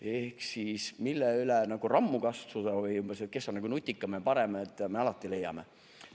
" Ehk siis seda, mille üle rammu katsuda või kes on nutikam ja parem, me alati leiame.